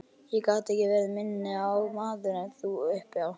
Ég gat ekki verið minni maður en þú uppi á